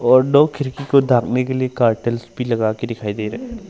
और दो खिड़की को ढकने के लिए कर्टेल्स भी लगाकर दिखाई दे रा--